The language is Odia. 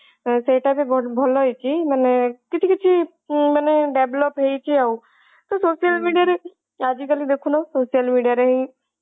ସେଇଟା ବି ବହୁତ ଭଲ ହେଇଛି ମାନେ କିଛି କିଛି ମାନେ develop ହେଇଛି ଆଉ ତୁ social media ରେ ଆଜି କାଲି ଦେଖୁନୁ social media ରେ ହିଁ